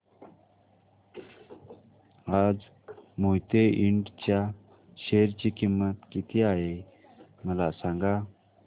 आज मोहिते इंड च्या शेअर ची किंमत किती आहे मला सांगा